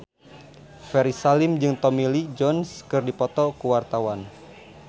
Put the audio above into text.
Ferry Salim jeung Tommy Lee Jones keur dipoto ku wartawan